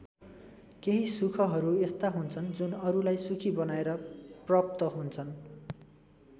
केही सुखहरू यस्ता हुन्छन् जुन अरूलाई सुखी बनाएर प्रप्त हुन्छन्।